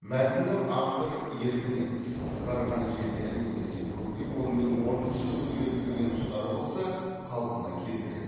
мәтіннің автор еркінен тыс қысқарған жерлері немесе бөгде қолмен орынсыз өзгертілген тұстары болса қалпына келтіреді